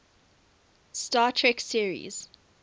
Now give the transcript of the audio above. star trek series